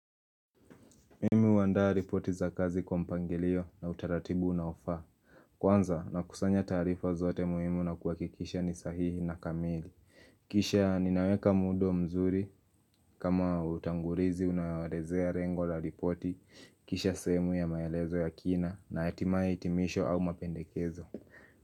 Mimi huandaa ripoti za kazi kwa mpangilio na utaratibu unaofaa Kwanza nakusanya taarifa zote muhimu na kuhakikisha ni sahihi na kamili Kisha ninaweka muundo mzuri kama utangulizi unaoelezea lengo la ripoti Kisha sehemu ya maelezo ya kina na hatimaye hitimisho au mapendekezo.